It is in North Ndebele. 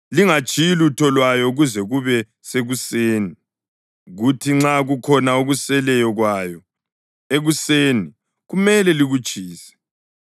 Lingatshiyi lutho lwayo kuze kube sekuseni; kuthi nxa kukhona okuseleyo kwayo ekuseni kumele likutshise.